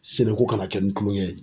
Seneko kana kɛ ni kulonkɛ ye.